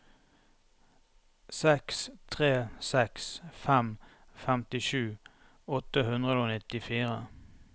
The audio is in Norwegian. seks tre seks fem femtisju åtte hundre og nittifire